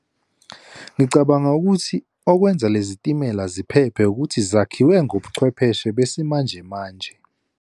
Ngicabanga ukuthi okwenza lezi timela ziphephe ukuthi zakhiwe ngobuchwepheshe besimanjemanje.